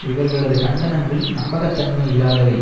இவர்களது கண்டனங்கள் நம்பகத்தன்மை இல்லாதவை